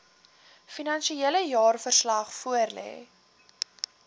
finansiële jaarverslag voorlê